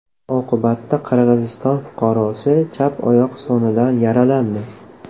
Oqibatda Qirg‘iziston fuqarosi chap oyoq sonidan yaralandi.